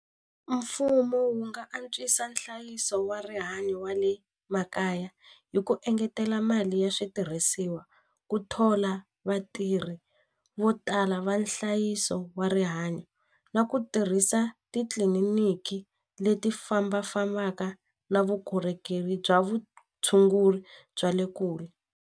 Mfumo wu nga antswisa nhlayiso wa rihanyo wa le makaya hi ku engetela mali ya switirhisiwa ku thola vatirhi vo tala va nhlayiso wa rihanyo na ku tirhisa titliliniki leti fambafambaka na vukorhokeri bya vutshunguri bya le kule.